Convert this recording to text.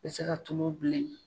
Bɛ se ka tulo bilen